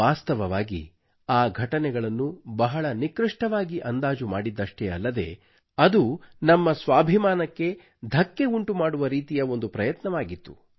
ವಾಸ್ತವವಾಗಿ ಆ ಘಟನೆಗಳನ್ನು ಬಹಳ ಕಡಿಮೆಗೊಳಿಸಿ ಅಂದಾಜು ಮಾಡಿದ್ದಷ್ಟೇ ಅಲ್ಲದೆ ಅದು ನಮ್ಮ ಸ್ವಾಭಿಮಾನಕ್ಕೆ ಧಕ್ಕೆ ಉಂಟುಮಾಡುವ ರೀತಿಯ ಒಂದು ಪ್ರಯತ್ನವಾಗಿತ್ತು